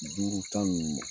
Duuru, tan ninnu ma.